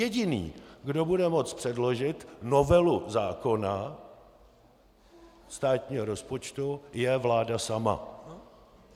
Jediný, kdo bude moci předložit novelu zákona státního rozpočtu, je vláda sama.